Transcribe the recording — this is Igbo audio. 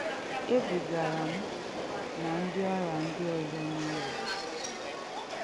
Ebugara mụ na ndị ọrịa ndị ọzọ n’ụlọ ọgwụ.